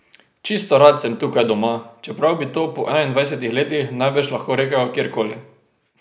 Čisto rad sem tukaj doma, čeprav bi to po enaindvajsetih letih najbrž lahko rekel kjerkoli.